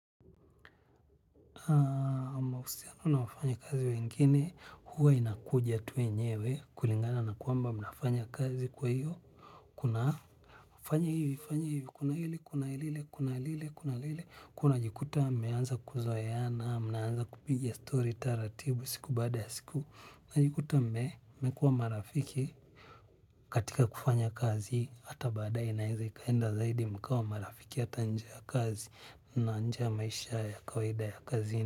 Mahusiano na wafanya kazi wengine, huwa inakuja tuye nyewe, kulingana na kwamba mnafanya kazi kwa hiyo. Kuna fanya hivi kuna hili kuna lile kwahiyo unajikuta mmeanza kuzoeana mnaanza kupiga story taratibu siku baada ya siku mnajikuta, mme, mmekuwa marafiki. Katika kufanya kazi, hata baadaye inaeza, ikaenda zaidi mkawa marafiki, hata njeya kazi na njeya maisha ya kawaida ya kazini.